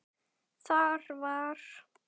Þar var